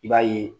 I b'a ye